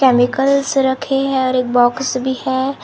Chemicals रखे हैं और एक बॉक्स भी है।